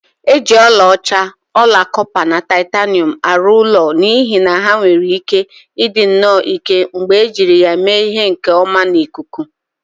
E ji ọlaọcha, ọla kọpa na titanium arụ ụlọ n'ihi na ha nwere ike ịdị nnọọ ike mgbe e jiri ya mee ihe nke ọmana ikuku